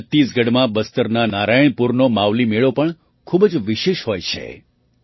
છત્તીસગઢમાં બસ્તરના નારાયણપુરનો માવલી મેળો પણ ખૂબ જ વિશેષ હોય છે